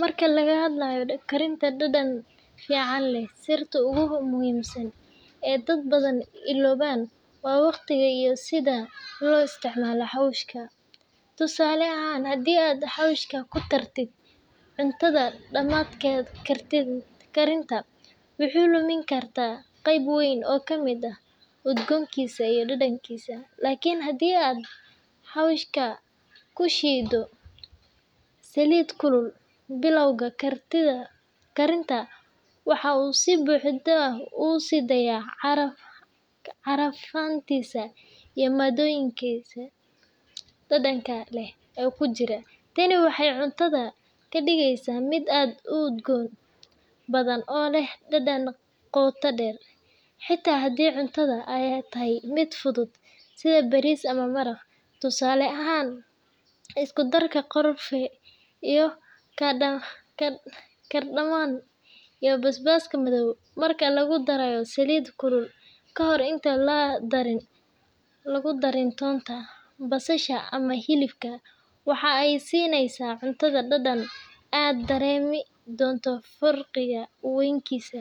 Marka laga hadlayo karinta dhadhan fiican leh, sirta ugu muhiimsan ee dad badan iloobaan waa waqtiga iyo sida loo isticmaalo xawaashka. Tusaale ahaan, haddii aad xawaashka ku dartid cuntada dhammaadka karinta, waxaad lumi kartaa qayb weyn oo ka mid ah udgoonkiisa iyo dhadhankiisa. Laakiin haddii aad xawaashka ku shiiddo saliid kulul bilowga karinta, waxa uu si buuxda u sii daayaa carfantiisa iyo maaddooyinka dhadhanka leh ee ku jira. Tani waxay cuntadaada ka dhigeysaa mid aad u udgoon badan oo leh dhadhan qoto dheer, xitaa haddii cuntadu ay tahay mid fudud sida bariis ama maraq. Tusaale ahaan, isku-darka qorfe, cardamom, iyo basbaaska madow marka lagu daro saliid kulul ka hor intaan la darin toonta, basasha ama hilibka, waxa ay siinayaan cuntada dhadhan aad dareemi doonto farqi weynkiisa.